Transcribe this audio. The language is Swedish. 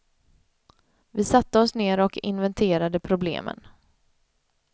Vi satte oss ner och inventerade problemen.